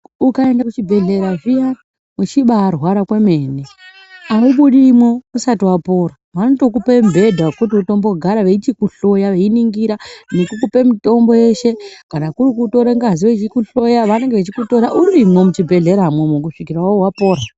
Ukaenda ku chibhedhleya zviyani uchibai rwara kwemene aubudimwo usati wapora vanoto kupa mubhedha wokuti utombo gara veichiku hloya veiningira nekukupe mitombo yeshe kana kuri kutora ngazi veiku hloya vanenge vechikutora urimwo mu chibhedhleya imomo kusvikira wapora.